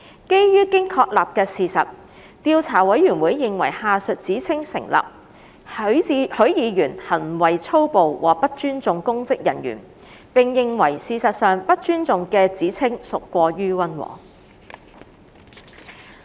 基於經確立的事實，調査委員會認為下述指稱成立：許議員行為粗暴和不尊重公職人員；並認為事實上"不尊重"的指稱屬過於溫和。